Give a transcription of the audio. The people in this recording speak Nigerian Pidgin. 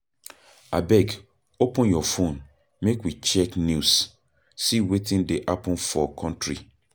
Abeg open your fone make we check news, see wetin dey happen for country